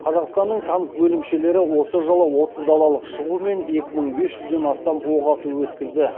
қазақстанның танк бөлімшелері осы жылы отыз далалық шығу мен екі мың бес жүзден астам оқ ату өткізді